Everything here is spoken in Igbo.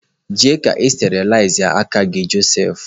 Je na sterilaiz gị aka Joseph!